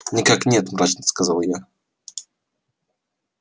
никак нет мрачно сказал я